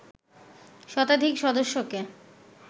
শতাধিক সদস্যকে